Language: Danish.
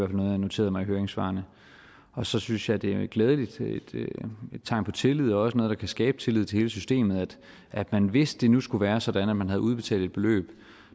noteret mig i høringssvarene så synes jeg det er glædeligt og et tegn på tillid og også noget der kan skabe tillid til hele systemet at man hvis det nu skulle være sådan at man havde udbetalt et beløb